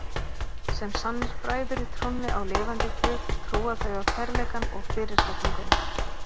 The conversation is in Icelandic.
Sem sannir bræður í trúnni á lifanda guð trúa þau á kærleikann og fyrirgefninguna.